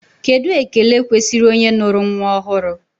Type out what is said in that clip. Kedụ ekele kwesịrị onye nụrụ nnwa ọhụrụ?